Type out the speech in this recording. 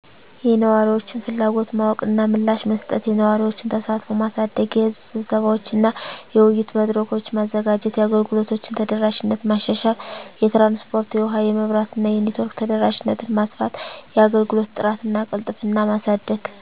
*የነዋሪዎችን ፍላጎት ማወቅ እና ምላሽ መስጠት፦ *የነዋሪዎችን ተሳትፎ ማሳደግ * የሕዝብ ስብሰባዎች እና የውይይት መድረኮች: ማዘጋጀት። * የአገልግሎቶችን ተደራሽነት ማሻሻል * የትራንስፖርት *የውሀ *የመብራት እና የኔትወርክ ተደራሽነትን ማስፋት፤ * የአገልግሎት ጥራት እና ቅልጥፍና ማሳደግ